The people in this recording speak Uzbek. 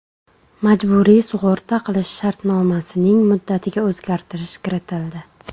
Majburiy sug‘urta qilish shartnomasining muddatiga o‘zgartish kiritildi.